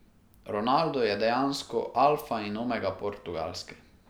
Ronaldo je dejansko alfa in omega Portugalske.